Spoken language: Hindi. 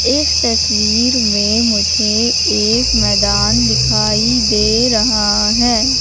इस तस्वीर में मुझे एक मैदान दिखाई दे रहा हैं।